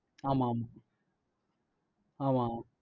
ஆமாம் ஆமா ஆமா